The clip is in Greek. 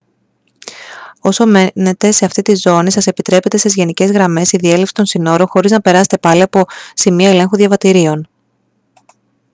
όσο μένετε σε αυτήν τη ζώνη σας επιτρέπετε σε γενικές γραμμές η διέλευση των συνόρων χωρίς να περάσετε πάλι από σημεία ελέγχου διαβατηρίων